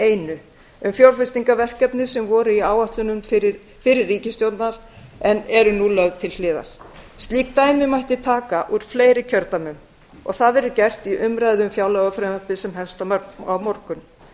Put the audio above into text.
einu um fjárfestingarverkefni sem voru í áætlunum fyrri ríkisstjórnar en eru nú skorin niður eða lögð til hliðar slík dæmi mætti taka úr fleiri kjördæmum og það verður gert í umræðu um fjárlagafrumvarpið sem hefst á morgun